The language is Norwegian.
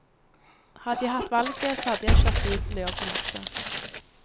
Hadde jeg hatt valget, så hadde jeg kjørt bil til jobben også.